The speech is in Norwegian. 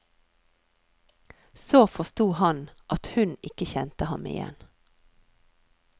Så forsto han at hun ikke kjente ham igjen.